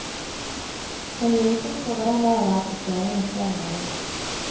Man gir uttrykk for hvordan det er å være til stede når flere mangler.